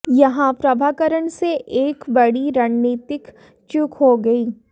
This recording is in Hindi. यहां प्रभाकरण से एक बड़ी रण्नीतिक चूक हो गई